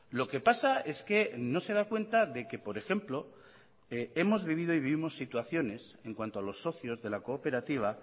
lo que pasa es que no se da cuenta de que por ejemplo hemos vivido y vivimos situaciones en cuanto a los socios de la cooperativa